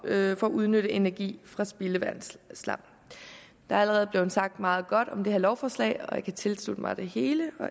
at udnytte energi fra spildevandsslam der er allerede blev sagt meget godt om det her lovforslag og jeg kan tilslutte mig det hele